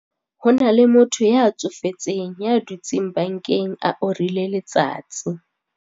Ho na le motho ya tsofetseng ya dutseng bankeng a orile letsatsi.